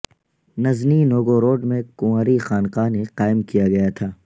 Nizhny Novgorod میں کنواری خانقاہ نے قائم کیا گیا تھا